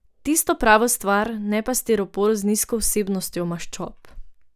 Tisto pravo stvar, ne pa stiropor z nizko vsebnostjo maščob.